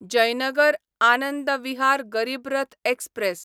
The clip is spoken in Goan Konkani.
जयनगर आनंद विहार गरीब रथ एक्सप्रॅस